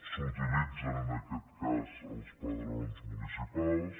s’utilitzen en aquest cas els padrons municipals